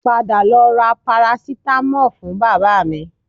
Padà lọ ra parasitamọ́ọ̀ fún bàbá mi